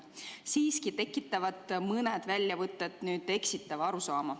Siiski tekitavad mõned väljavõtted eksitava arusaama.